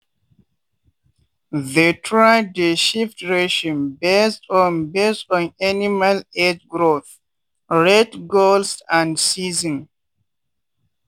they try dey shift ration based on based on animal age growth rate goals and season.